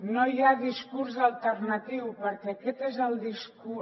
no hi ha discurs alternatiu perquè aquest és el discurs